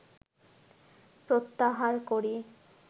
প্রত্যাহার করি